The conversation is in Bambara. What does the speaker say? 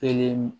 Kelen